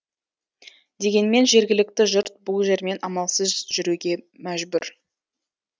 дегенмен жергілікті жұрт бұл жермен амалсыз жүруге мәжбүр